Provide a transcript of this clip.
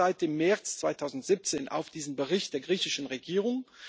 Ich warte seit dem März 2017 auf diesen Bericht der griechischen Regierung.